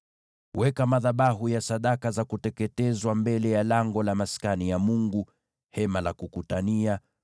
“Weka madhabahu ya sadaka za kuteketezwa mbele ya lango la Maskani ya Mungu, yaani Hema la Kukutania;